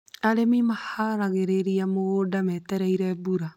Arĩmi maharagĩrĩria mĩgũnda metereire mbura